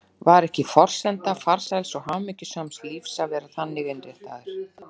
Var ekki forsenda farsæls og hamingjusams lífs að vera þannig innréttaður?